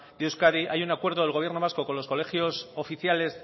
de euskadi hay un acuerdo del gobierno vasco con los colegios oficiales